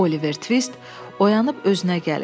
Oliver Tvist oyanıb özünə gəlir.